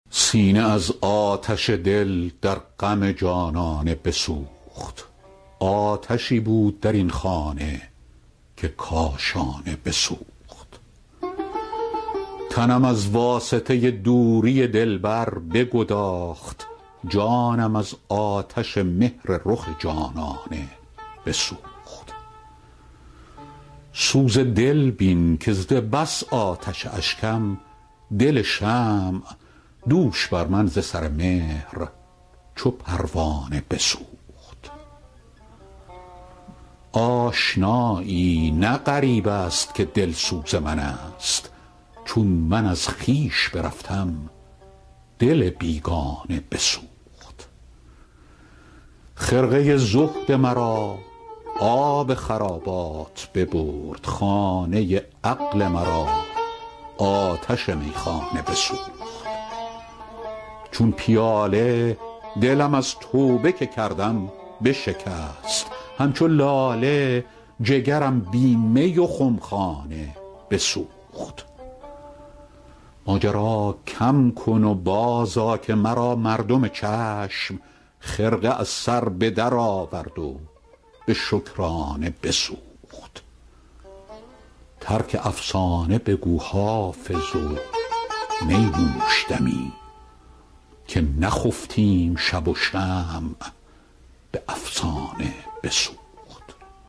سینه از آتش دل در غم جانانه بسوخت آتشی بود در این خانه که کاشانه بسوخت تنم از واسطه دوری دلبر بگداخت جانم از آتش مهر رخ جانانه بسوخت سوز دل بین که ز بس آتش اشکم دل شمع دوش بر من ز سر مهر چو پروانه بسوخت آشنایی نه غریب است که دلسوز من است چون من از خویش برفتم دل بیگانه بسوخت خرقه زهد مرا آب خرابات ببرد خانه عقل مرا آتش میخانه بسوخت چون پیاله دلم از توبه که کردم بشکست همچو لاله جگرم بی می و خمخانه بسوخت ماجرا کم کن و بازآ که مرا مردم چشم خرقه از سر به درآورد و به شکرانه بسوخت ترک افسانه بگو حافظ و می نوش دمی که نخفتیم شب و شمع به افسانه بسوخت